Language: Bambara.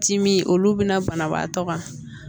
Dimi olu bɛna banabaatɔ kan